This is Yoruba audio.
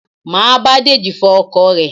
Máa bá Deji fọ ọkọ̀ rẹ̀